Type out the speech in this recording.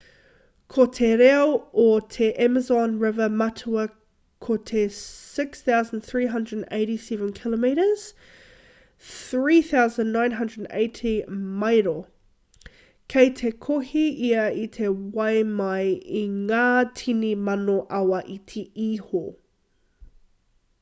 ko te roa o te amazon river matua ko te 6,387 km 3,980 maero. kei te kohi ia i te wai mai i ngā tini mano awa iti iho